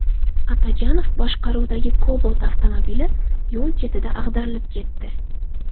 Atajonov boshqaruvidagi Cobalt avtomobili yo‘l chetida ag‘darilib ketdi.